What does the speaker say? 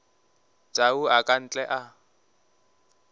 tau a ka ntle a